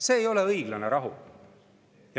See ei ole õiglane rahu!